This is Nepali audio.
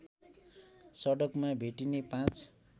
सडकमा भेटिने पाँच